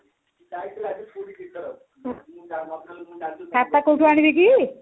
ଖାତା କୋଉଠି ଆଣିବେ କି